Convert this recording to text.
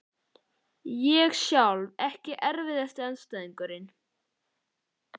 Sunna Sæmundsdóttir: Hvað finnst þér skemmtilegast við að leika?